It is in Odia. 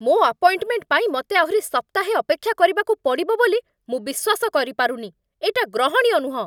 ମୋ' ଆପଏଣ୍ଟମେଣ୍ଟ ପାଇଁ ମତେ ଆହୁରି ସପ୍ତାହେ ଅପେକ୍ଷା କରିବାକୁ ପଡ଼ିବ ବୋଲି ମୁଁ ବିଶ୍ଵାସ କରିପାରୁନି । ଏଇଟା ଗ୍ରହଣୀୟ ନୁହଁ ।